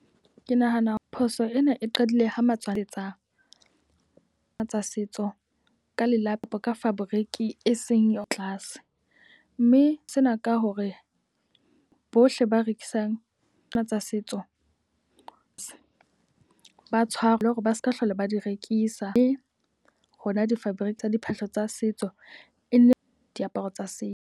Ke nahana phoso ena e qadile ho matswantle tsa tsa setso ka lelapa ka fabriki e seng ya tlase. Mme sena ka hore bohle ba rekisang tsena tsa setso ba tshwarwe. Le hore ba seka hlola ba di rekisa. E hona di-fabric tsa diphahlo tsa setso e ne diaparo tsa setso.